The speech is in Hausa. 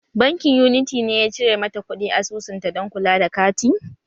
Bankin Unity ne ya cire mata kuɗi asusunta dan kula da kati?